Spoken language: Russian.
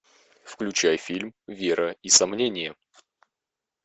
включай фильм вера и сомнение